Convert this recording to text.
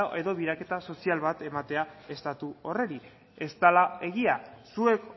edo sozial bat ematea estatu horri ez dela egia zuek